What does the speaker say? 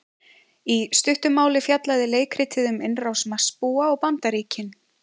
Í stuttu máli fjallaði leikritið um innrás Marsbúa á Bandaríkin.